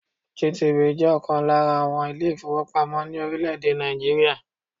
GTB jẹ́ ọ̀kan lára àwọn ilé-ìfowópamọ́ ní orílẹ̀-èdè Nàìjíríà.